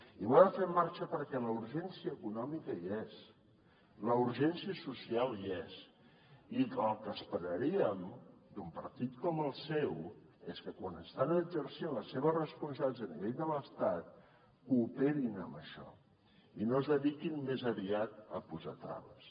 i ho ha de fer en marxa perquè la urgència econòmica hi és la urgència social hi és i el que esperaríem d’un partit com el seu és que quan estan exercint les seves responsabilitats a nivell de l’estat cooperin en això i no es dediquin més aviat a posar traves